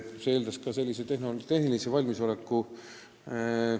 See eeldab ka tehnilist valmisolekut.